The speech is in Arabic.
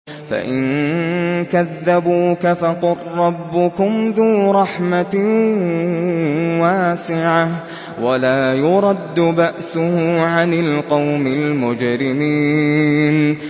فَإِن كَذَّبُوكَ فَقُل رَّبُّكُمْ ذُو رَحْمَةٍ وَاسِعَةٍ وَلَا يُرَدُّ بَأْسُهُ عَنِ الْقَوْمِ الْمُجْرِمِينَ